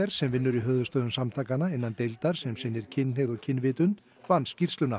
sem vinnur í höfuðstöðvum samtakanna innan deildar sem sinnir kynhneigð og kynvitund vann skýrsluna